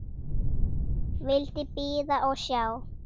Vildi bíða og sjá.